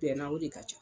Bɛnna o de ka ca